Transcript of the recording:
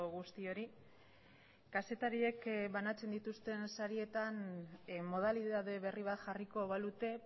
guztioi kazetariek banatzen dituzten sarietan modalitate berri bat jarriko balute